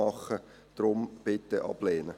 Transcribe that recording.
Deshalb: Bitte ablehnen.